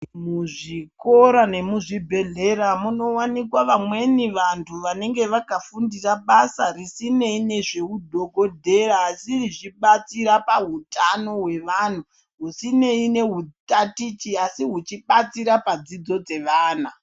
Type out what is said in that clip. Muzvikora yemuzvibhedhlera munowanikwa vamweni vantu vanenge vakafundira basa risineyi nezvehudhogodheya asi richibatsira pahutano hwevanhu. Husineyi nehutatichi asi huchibatsira padzidzo dzevana.